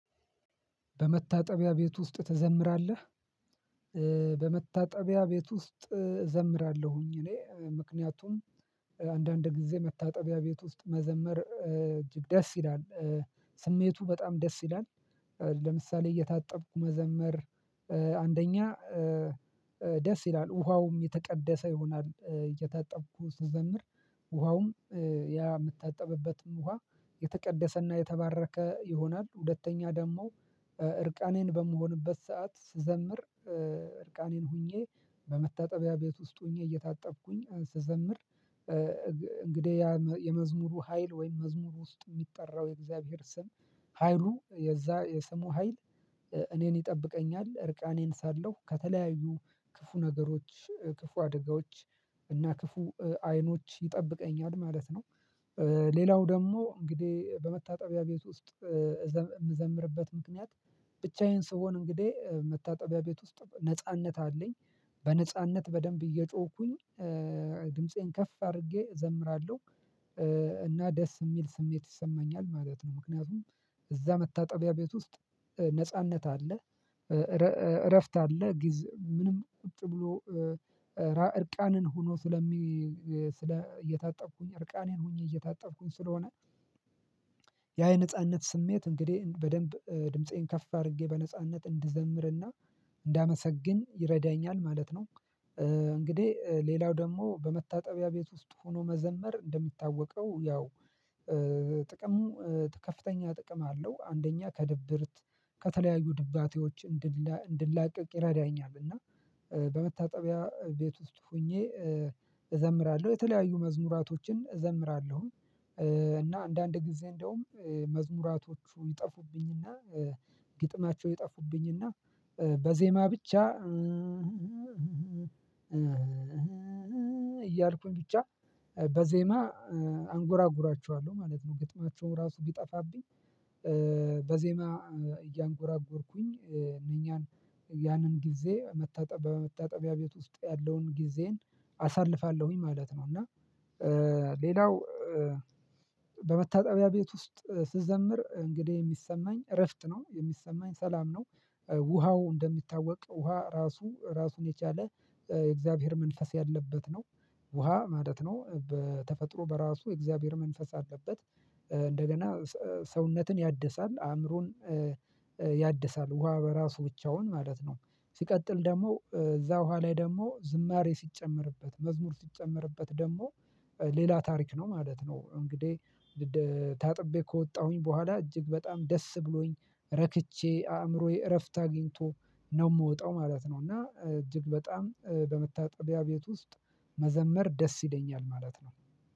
በመታጠቢያ ቤት ውስጥ ትዘምራለህ በመታጠቢያ ቤት ውስጥ እዘምራለሁኝ እኔ ምክንያቱም አንዳንድ ጊዜ መታጠቢያ ቤት ውስጥ መዘመር እጅግ ደስ ይላል ስሜቱ በጣም ደስ ይላል ለምሳሌ እየታጠብኩ መዘመር አንደኛ ደስ ይላል ውሃውም የተቀደሰ ይሆናል እየታጠብኩ ስዘምር ውሃውም ያ የምታጠብበትም ውሃ የተቀደሰና የተባረከ ይሆናል ሁለተኛ ደግሞ እርቃኔን በምሆንበት ሰዓት ስዘምር እርቃኔን ሁኜ በመታጠቢያ ቤት ውስጥ ሆኜ እየታጠብኩኝ ስዘምር እንግዲህ ያ የመዝሙሩ ሀይል ወይም መዝሙር ውስጥ የሚጠራው የእግዚአብሔር ስም ሀይሉ የዛ የስሙ ሀይል እኔን ይጠብቀኛል እርቃኔን ሳለው ከተለያዩ ክፉ ነገሮች ክፉ አደጋዎች እና ክፉ አይኖች ይጠብቀኛል ማለት ነው ሌላው ደግሞ እንግዲህ በመታጠቢያ ቤት ውስጥ የምዘምርበት ምክንያት ብቻዬን ስሆን እንግዲህ መታጠቢያ ቤት ውስጥ ነጻነት አለኝ በነጻነት በደንብ እየጮህኩኝ ድምፄን ከፍ አድርጌ እዘምራለሁ እና ደስ የሚል ስሜት ይሰማኛል ማለት ነው ምክንያቱም እዛ መታጠቢያ ቤት ውስጥ ነጻነት አለ እረፍት አለ ጊዜ ምንም ቁጭ ብሎ እርቃንን ሆኖ ስለሚ ስለ እየታጠብኩኝ እርቃኔን ሆኜ እየታጠብኩኝ ስለሆነ ያ የነጻነት ስሜት እንግዲህ በደንብ ድምፄን ከፍ አድርጌ በነጻነት እንድዘምርና እንዳመሰግን ይረዳኛል ማለት ነው እንግዲህ ሌላው ደግሞ በመታጠቢያ ቤት ውስጥ ሆኖ መዘመር እንደሚታወቀው ያው ጥቅሙ ከፍተኛ ጥቅም አለው አንደኛ ከድብርት ከተለያዩ ድባቴዎች እንድላቀቅ ይረዳኛል እና በመታጠቢያ ቤት ውስጥ ሆኜ እዘምራለሁ የተለያዩ መዝሙራቶችን እዘምራለሁ እና አንዳንድ ጊዜ እንደውም መዝሙራቶቹ ይጠፉብኝና ግጥማቸው ይጠፉብኝና በዜማ ብቻ እያልኩኝ ብቻ በዜማ አንጎራጉራችኋለሁ ማለት ነው ግጥማቸውን ራሱ ቢጠፋብኝ በዜማ እያንጎራጎርኩኝ እነኛን ያንን ጊዜ መታጠቢያ በመታጠቢያ ቤት ውስጥ ያለውን ጊዜዬን አሳልፋለሁኝ ማለት ነው እና ሌላው በመታጠቢያ ቤት ውስጥ ስዘምር እንግዲህ የሚሰማኝ እረፍት ነው የሚሰማኝ ሰላም ነው ውሃው እንደሚታወቅ ውሃ ራሱ ራሱን የቻለ የእግዚአብሔር መንፈስ ያለበት ነው ውሃ ማለት ነው በተፈጥሮ በራሱ የእግዚአብሔር መንፈስ አለበት እንደገና ሰውነትን ያድሳል አእምሮን ያድሳል ውሃ በራሱ ብቻውን ማለት ነው ሲቀጥል ደግሞ እዛ ውሃ ላይ ደግሞ ዝማሬ ሲጨመርበት መዝሙር ሲጨመርበት ደግሞ ሌላ ታሪክ ነው ማለት ነው እንግዲህ ታጥቤ ከወጣሁኝ በኋላ እጅግ በጣም ደስ ብሎኝ ረክቼ አእምሮዬ እረፍት አግኝቶ ነው የምወጣው ማለት ነው እና እጅግ በጣም በመታጠቢያ ቤት ውስጥ መዘመር ደስ ይለኛል ማለት ነው።